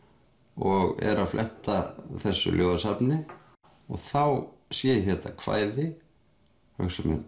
og er að fletta þessu ljóðasafni og þá sé ég þetta kvæði og hugsa með